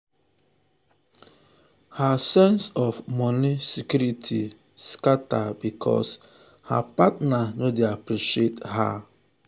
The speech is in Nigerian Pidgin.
her sense of moni security scata because her partner no dey appreciate her.